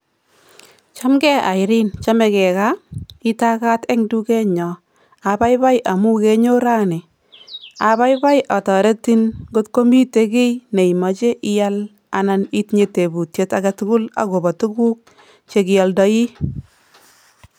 Ngele ii oldoindet. Tos igatitei ono olindet?